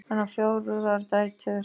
Hann á fjórar dætur.